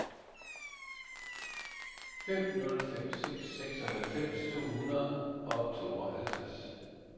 fem nul fem seks seksoghalvfems to hundrede og tooghalvtreds